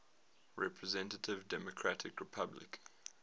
representative democratic republic